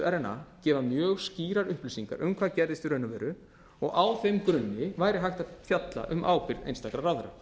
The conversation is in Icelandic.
rna gefa mjög skýrar upplýsingar um hvað gerðist í raun og veru og á þeim grunni væri hægt að fjalla um ábyrgð einstakra ráðherra